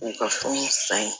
U ka fɛnw san